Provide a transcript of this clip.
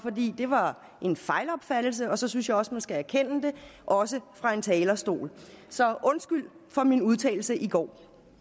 det var en fejlopfattelse og så synes jeg også at man skal erkende det også fra en talerstol så undskyld for min udtalelse i går